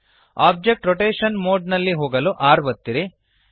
object rotation mode ನಲ್ಲಿ ಹೋಗಲು R ಒತ್ತಿರಿ